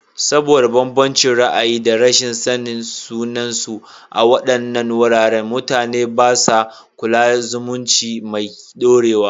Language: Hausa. Saboda bambancin ra'ayi da rashin sanin sunansu a waɗannan wuraren, mutane ba sa kulla zumunci mai dorewa.